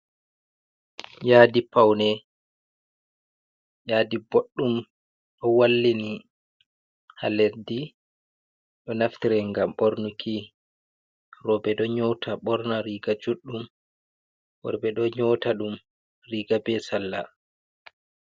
Yaadi pawne, yaadi boɗɗum ɗo wallini haa leddi, ɗo naftire ngam bornuki, rewɓe ɗo nyoota borna riga juɗɗum, worɓe ɗo nyoota ɗum riiga bee salla.